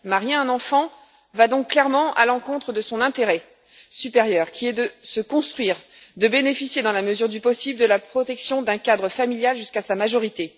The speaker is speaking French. Marier un enfant va donc clairement à l'encontre de son intérêt supérieur, qui est de se construire et de bénéficier, dans la mesure du possible, de la protection d'un cadre familial jusqu'à sa majorité.